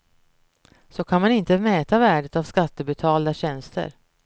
Så kan man inte mäta värdet av skattebetalda tjänster.